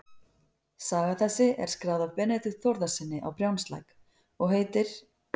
Saga þessi er skráð af Benedikt Þórðarsyni á Brjánslæk og heitir